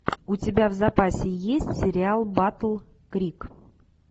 у тебя в запасе есть сериал батл крик